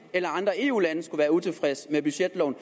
eller andre eu lande skulle være utilfredse med budgetloven